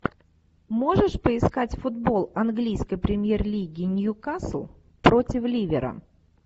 можешь поискать футбол английской премьер лиги ньюкасл против ливера